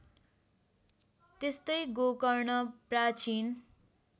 त्यस्तै गोकर्ण प्राचीन